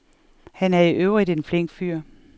Han er i øvrigt en flink fyr.